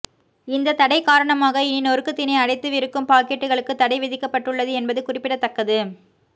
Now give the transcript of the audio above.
இந்த தடை காரணமாக இனி நொறுக்குத்தீனி அடைத்து விற்கும் பாக்கெட்டுகளுக்கும் தடை விதிக்கப்பட்டுள்ளது என்பது குறிப்பிடத்தக்கது